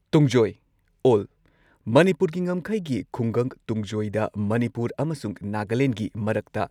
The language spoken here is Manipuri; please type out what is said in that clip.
ꯇꯨꯡꯖꯣꯏ ꯑꯣꯜ ꯃꯅꯤꯄꯨꯔꯒꯤ ꯉꯝꯈꯩꯒꯤ ꯈꯨꯡꯒꯪ ꯇꯨꯡꯖꯣꯏꯗ ꯃꯅꯤꯄꯨꯔ ꯑꯃꯁꯨꯡ ꯅꯥꯒꯥꯂꯦꯟꯗꯒꯤ ꯃꯔꯛꯇ